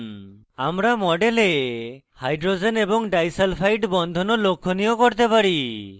আমরা model hydrogen এবং disulpfide বন্ধন ও লক্ষনীয় করতে পারি